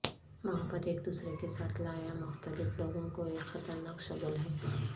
محبت ایک دوسرے کے ساتھ لایا مختلف لوگوں کو ایک خطرناک شگل ہے